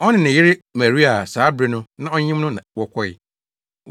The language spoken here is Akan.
Ɔne ne yere Maria a saa bere no na ɔyem no na wɔkɔe.